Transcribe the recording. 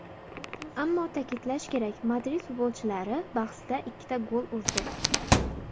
Ammo ta’kidlash kerak, Madrid futbolchilari bahsda ikkita gol urdi.